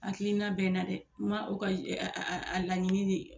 hakiliina bɛ n na dɛ n ma o ka a laɲini de